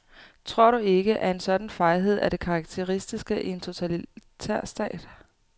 Tror du ikke, en sådan fejhed er det karakteristiske i en totalitærstat?